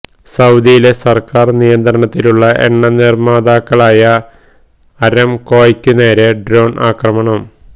സൌദിയിലെ സര്ക്കാര് നിയന്ത്രണത്തിലുള്ള എണ്ണ നിര്മ്മാതാക്കളായ അരംകോയ്ക്കു നേരെ ഡ്രോണ് ആക്രമണം